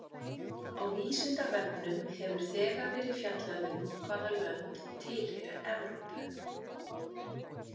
Á Vísindavefnum hefur þegar verið fjallað um hvaða lönd tilheyra Evrópu.